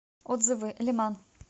отзывы леман